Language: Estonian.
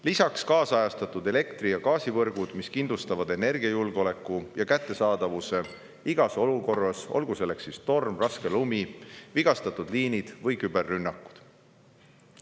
Lisaks ajakohastatud elektri- ja gaasivõrgud, mis kindlustavad energiajulgeoleku ja energia kättesaadavuse igas olukorras, olgu torm, raske lumi, vigastatud liinid või küberrünnakud.